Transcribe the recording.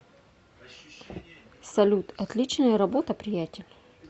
салют отличная работа приятель